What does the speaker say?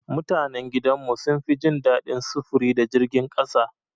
Mutanan gidan mu sun fi jin daɗin sufuri da jirgin ƙasa.